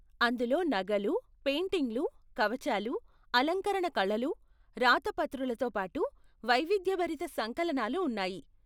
అందులో నగలు, పెయింటింగ్లు, కవచాలు, అలంకరణ కళలు, రాతప్రతులతో పాటు వైవిధ్యభరిత సంకలనాలు ఉన్నాయి.